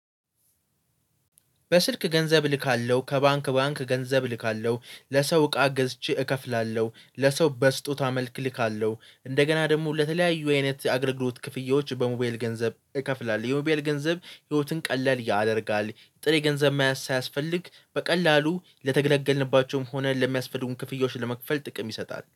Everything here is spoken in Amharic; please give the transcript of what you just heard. በስልክ ገንዘብ እልካለሁ ከባንክ ባንክ ገንዘብ እልካለሁ ለሰው እቃ ገዝቼ እከፍላለሁ ለሰው በስጦታ መልክ እልካለሁ። እንደገና ደግሞ ለተለያዩ አይነት አግርግሎት ክፍያዎች በሞቢየል ገንዘብ እከፍላለሁ። የሞባየል ገንዘብ ህይወትን ቀለል ያደርጋል። ጥሬ ገንዘብ ማያስ ሳያስፈልግ በቀላሉ ለተገለገልንባቸውም ሆነ ለሚያስፈልጉን ክፍያዎች ለመክፈል ጥቅም ይሰጣል